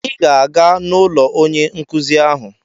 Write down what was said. Ị ga-aga n'ụlọ onye nkụzi ahụ!